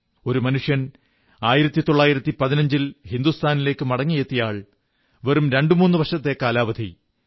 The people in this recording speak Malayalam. ഒരു മനുഷ്യൻ 1915 ൽ ഹിന്ദുസ്ഥാനിലേക്കു മടങ്ങിയെത്തിയ ആൾ വെറും രണ്ടു വർഷത്തെ കാലാവധി